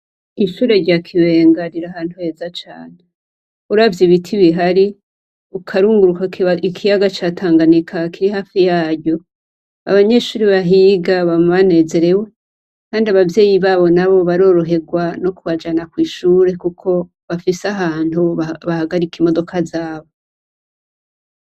Ishure rya Kibenga riri ahantu heza cane. Uravye ibiti bihari ukarunguruka ikiyaga ca Tanganyika kiri hafi yaryo abanyeshure bahiga bama banezerewe kandi abavyeyi babo nabo baroroherwa no kubajana kw'ishure kuko bafise ahantu bahagarika imodoka zabo.